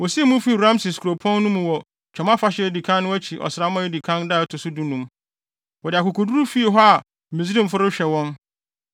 Wosii mu fii Rameses kuropɔn no mu wɔ Twam Afahyɛ a edi kan no akyi ɔsram edi kan da ɛto so dunum. Wɔde akokoduru fii hɔ a Misraimfo no rehwɛ wɔn.